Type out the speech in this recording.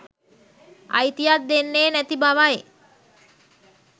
අයිතියක් දෙන්නේ නැති බවයි